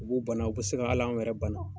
O b'u bana o bɛ se ka al'an yɛrɛw bana.